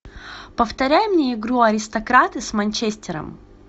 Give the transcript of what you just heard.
повторяй мне игру аристократы с манчестером